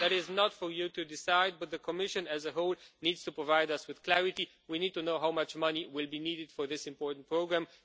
That is not for you to decide, but the Commission as a whole needs to provide us with clarity we need to know how much money will be needed for this important programme.